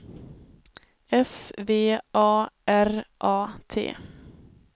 S V A R A T